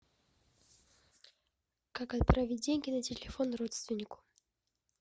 как отправить деньги на телефон родственнику